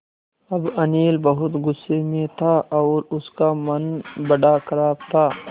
अब अनिल बहुत गु़स्से में था और उसका मन बड़ा ख़राब था